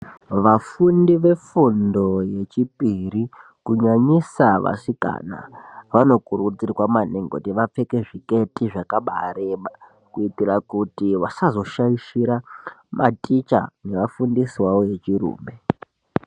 Vafundi vefundo yechipiri vano kurudzirwa maningi kuti vapfeke zviketi zvakaba yireba kuitira kuti vasazoshaishira maticha nevafundisi vavo vechirume.